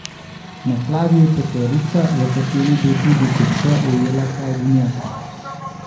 Na Kladju je peterica, v kateri je bil tudi Kopše, ujela Hajdinjaka.